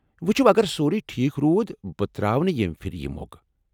وٕچھو، اگر سورُے ٹھیٖک روٗد، بہٕ ترٛاوٕ نہ ییٚمہ پھرِ یہ موقعہٕ۔